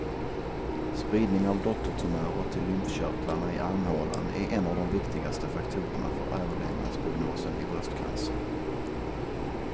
Spridning av dottertumörer till lymfkörtlarna i armhålan är en av de viktigaste faktorerna för överlevnadsprognosen vid bröstcancer.